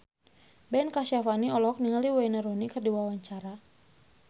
Ben Kasyafani olohok ningali Wayne Rooney keur diwawancara